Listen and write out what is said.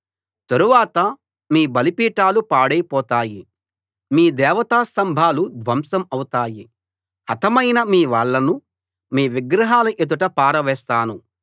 తరువాత మీ బలిపీఠాలు పాడై పోతాయి మీ దేవతా స్తంభాలు ధ్వంసం అవుతాయి హతమైన మీ వాళ్ళను మీ విగ్రహాల ఎదుట పారవేస్తాను